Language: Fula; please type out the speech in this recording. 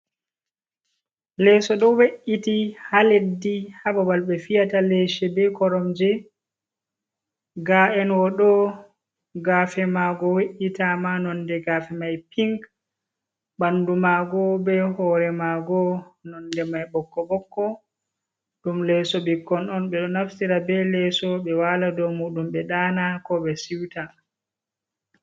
Leso ɗo we’iti ha leddi ha babal ɓe fiyata lese be koromje ga'en wo ɗo gafe mago we’itama nonde gafe mai pink ɓandu mago be hore mago nonde mai ɓokko ɓokko. Ɗum leso ɓikkon on ɓe ɗo naftira be leso ɓe wala dow muɗum be ɗana ko ɓe siuta.